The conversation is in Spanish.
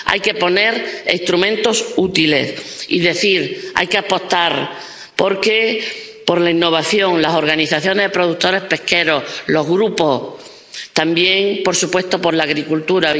Hay que poner instrumentos útiles y hay que apostar por la innovación, las organizaciones de productores pesqueros, los grupos y también, por supuesto, por la acuicultura.